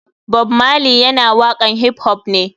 Bob marley yana waƙan hip hop ne.